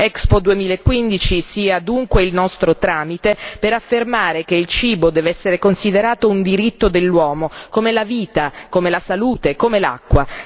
Expo 2015 sia dunque il nostro tramite per affermare che il cibo deve essere considerato un diritto dell'uomo come la vita, come la salute, come l'acqua.